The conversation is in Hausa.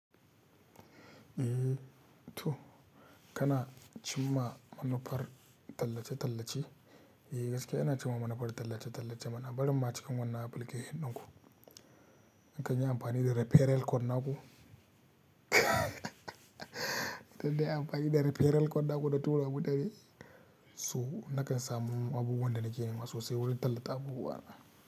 Eh to kana cimma manufar tallace-tallace. Eh gaskiya ina cimma manufar tallace-tallace mana. Barin ma cikin wannan application dinku. In ka yi amfani da referral code naku in nayi amfani da referral code naku na tura ma mutane, so nakan samu abubuwan da nake nema sosai wurin tallata abubuwa na.